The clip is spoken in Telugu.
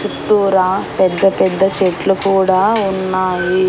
చుట్టూరా పెద్ద పెద్ద చెట్లు కూడా ఉన్నాయి.